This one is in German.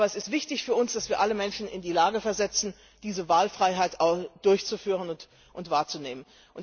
werden das nicht tun. Aber es ist wichtig für uns, dass wir alle Menschen in die Lage versetzen, diese